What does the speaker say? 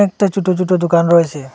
তা ছুটো ছুটো দোকান রয়েসে।